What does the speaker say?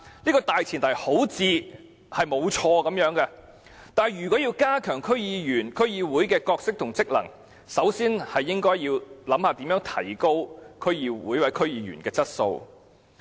這個大前提似乎沒有錯，但如果要加強區議員和區議會的角色和職能，首先應思考如何提高區議會或區議員的質素。